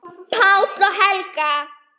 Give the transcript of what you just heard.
Páll og Helga.